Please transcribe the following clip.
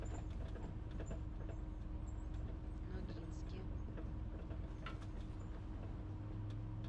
ногинске